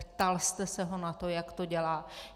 Ptal jste se ho na to, jak to dělá?